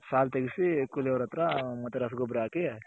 ಸಾಲ್ ತಗ್ಸಿ ಕೂಲಿ ಅವ್ರ್ ಹತ್ರ ಮತ್ ರಸಗೊಬ್ಬರ ಹಾಕಿ